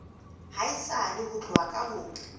haesale ho tloha ka ho